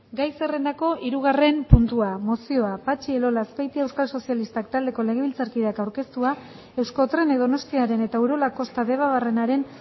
gai zerrendako hirugarren puntua mozioa patxi elola azpeitia euskal sozialistak taldeko legebiltzarkideak aurkeztua euskotrenek donostiaren eta urola kosta debabarrenaren